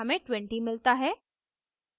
हमें 20 मिलता है